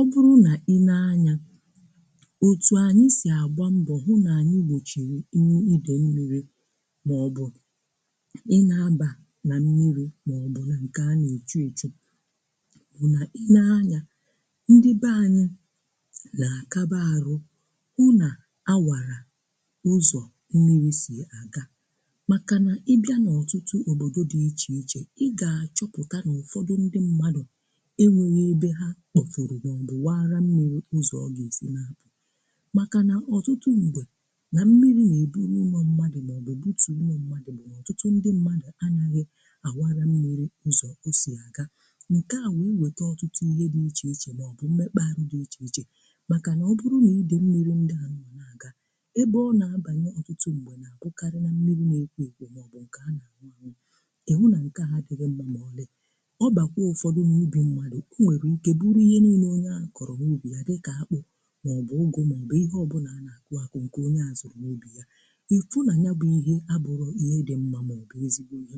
Ọ̀ bụrụ nà ị lee anya, òtù anyị́ sì àgbá mbọ̀ hụ́ nà anyị́ wòchìrì nnyò idè mmírì mà ọ̀ bụ̀ ị lee abà nà mmírì mà ọ̀ bụ̀ nà ńkè a nà-èchú èchú bụ̀ nà ị lee anya, ndị be anyị́ nà-àkaba arụ́ hụ́ nà áwàrà ụzọ̀ mmírì sì àga. Màkà nà ị bịa n’ọ̀tụtụ òbòdo dị̀ ichè-ichè, ị gà-àchọpụ̀ta n’ụfọdụ ndị mmádụ̀ enwéghị́ èbé ha kpọ́pụ̀rụ̀ mà ọ̀ bụ̀ wàrà mmírì ụ̀zọ̀ ọ gà-eji nà. Màkà nà ọ̀tụtụ m̀gbè nà mmírì nà-èbùrù ụ̀nọ̀ mmádụ̀ mà ọ̀ bụ̀ bùtùò ụ̀nọ̀ mmádụ̀ bụ̀ n’ọ̀tụtụ ndị mmádụ̀ anyàghị́ àwara mmírì ụzọ̀ ọ sì àga, ńkè a wèe wete ọ̀tụtụ ihe dị̀ ichè-ichè mà ọ̀ bụ̀ mmekpà arụ́ dị̀ ichè-ichè. Màkà nà ọ̀ bụrụ nà idè mmírì ndị à nà-àga èbé ọ nà-àbànyà, ọ̀tụtụ m̀gbè nà-àbụkarị nà mmírì n’ékwo ékwo mà ọ̀ bụ̀ ńkè àṅụ̀ àṅụ̀. Ịhụ́ nà ńkè ha dịghị ńmmà mọlị̀, ọ̀bàkwùò ụfọdụ n'úbì mmádụ̀, ọ nwèrè ìké bụrù ihe nílé onye ahụ́ kọ̀rọ̀ ùgbò yá, dị̀ kà àkpụ̀ mà ọ̀ bụ̀ ụ́gụ̀ mà ọ̀ bụ̀ ihe ọ̀bụ̀là a nà-àkụ ákụ̀ ǹkè onye à zụ́ụ̀ n’úbì yá. Ìfụ́ nà nya bụ̀ ihe àbụ́ghị̀ ihe dị̀ ńmmà mọ̀bụ̀ ézigbò ihe.